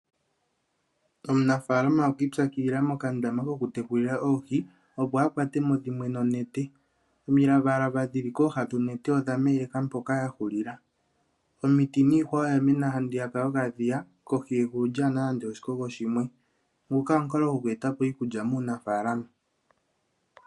Omunafaalama okwi ipyakidhila mokandama kokutekulila oohi opo akwatwemo dhimwe nonete. omilavalava dhili kooha dhonete odhameleka mpoka yahulila. omiti niihwa oyamena handiya yokadhiya kohi yegulu kalina nande oshikogo shimwe. nguka omukalo goku etapo iikulya maanafaalama .